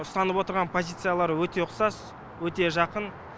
ұстанып отырған позициялары өте ұқсас өте жақын